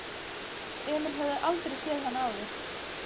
Emil hafði aldrei séð hann áður.